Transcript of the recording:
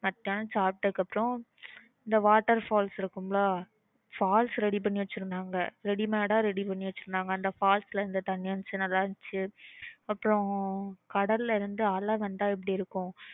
மதியானம் சாப்பிட்டதுக்கு அப்புறம் இந்த water falls இருக்கும் ல falls ready பண்ணி வெச்சிருந்தாங்க readymade ஆஹ் ready பண்ணி வெச்சிருந்தாங்க அந்த falls ல இருந்து தண்ணீர் வந்துச்சு நல்ல இருந்துச்சு அப்புறம் கடல் ல அலை வந்தா எப்படி இருக்கும்